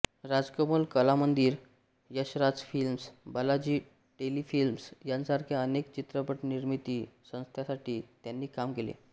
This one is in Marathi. राजकमल कलामंदिर यशराज फिल्म्स बालाजी टेलिफिल्म्स यांसारख्या अनेक चित्रपट निर्मिती संस्थांसाठी त्यांनी काम केले